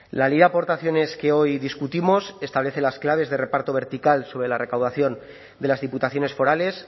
la ley de aportaciones que hoy discutimos establece las claves de reparto vertical sobre la recaudación de las diputaciones forales